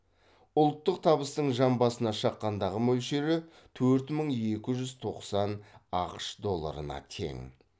ұлттық табыстың жан басына шаққандағы мөлшері төрт мың екі жүз тоқсан ақш долларына тең